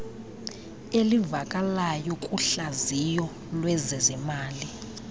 elivakalayo kuhlaziyo lwezezimali